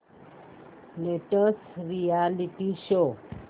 latest reality show